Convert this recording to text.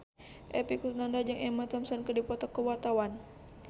Epy Kusnandar jeung Emma Thompson keur dipoto ku wartawan